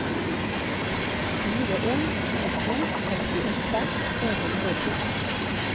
fire en to to sekstiåtte tre hundre og fjorten